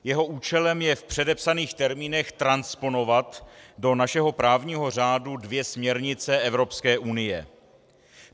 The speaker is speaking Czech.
Jeho účelem je v předepsaných termínech transponovat do našeho právního řádu dvě směrnice Evropské unie.